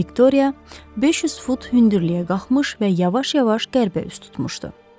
Viktoriya 500 fut hündürlüyə qalxmış və yavaş-yavaş qərbə üz tutmuşdu.